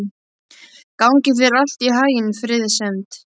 Gangi þér allt í haginn, Friðsemd.